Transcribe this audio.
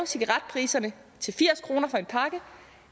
cigaretpriserne til firs kroner for en pakke